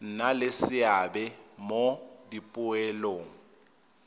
nna le seabe mo dipoelong